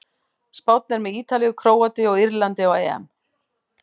Spánn er með Ítalíu, Króatíu og Írlandi á EM.